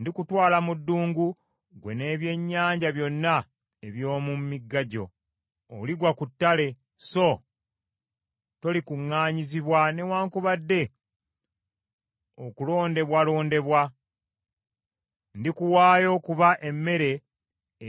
Ndikutwala mu ddungu, ggwe n’ebyennyanja byonna eby’omu migga gyo. Oligwa ku ttale, so tolikuŋŋaanyizibwa newaakubadde okulondebwalondebwa. Ndikuwaayo okuba emmere